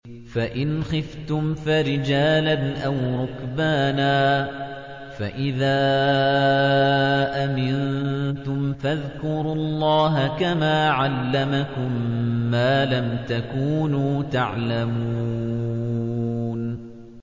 فَإِنْ خِفْتُمْ فَرِجَالًا أَوْ رُكْبَانًا ۖ فَإِذَا أَمِنتُمْ فَاذْكُرُوا اللَّهَ كَمَا عَلَّمَكُم مَّا لَمْ تَكُونُوا تَعْلَمُونَ